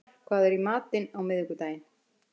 Reimar, hvað er í matinn á miðvikudaginn?